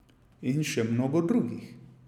In še mnogo drugih.